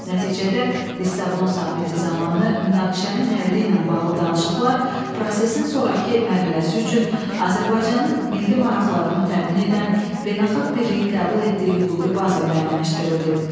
Nəticədə, Lissabon sammiti zamanı münaqişənin həlli ilə bağlı danışıqlar prosesin sonrakı mərhələsi üçün Azərbaycanın milli maraqlarını təmin edən beynəlxalq birliyin qəbul etdiyi hüquqi baza müəyyənləşdirildi.